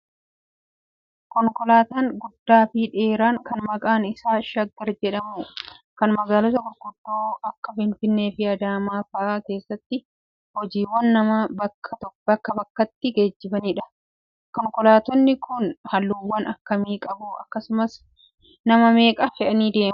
Konkolaataan guddaa fi dheeraan kan maqaan isaa shaggar jedhamu kan magaalota gurguddoo akka Finfinnee fi Adaamaa fa'aa keessatti hojiiwwan nama bakkaa bakkatti geejjibanidha. Konkolaattonni kun halluuwwan akkamii qabu? Akkasumas nama meeqa fe'uu danda'uu?